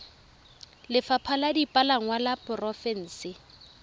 lefapha la dipalangwa la porofense